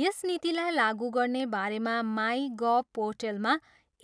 यस नीतिलाई लागु गर्ने बारेमा माई गभ पोर्टलमा